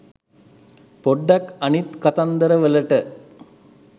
පොඩ්ඩක් අනිත් කතන්දරවලට